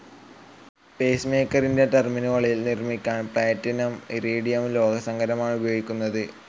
Pace മേക്കറിൻ്റെ ടെർമിനലുകൾ നിർമിക്കാൻ പ്ലേറ്റിനും ഇറിഡിയം ലോഹസങ്കരമാണുപയോഗിക്കുന്നതു.